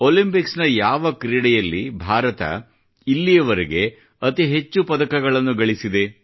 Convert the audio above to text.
Olympic ನ ಯಾವ ಕ್ರೀಡೆಯಲ್ಲಿ ಭಾರತ ಇಲ್ಲಿವರೆಗೆ ಅತಿ ಹೆಚ್ಚು ಪದಕಗಳನ್ನು ಗಳಿಸಿದೆ